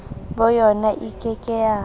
boyona e ke ke ya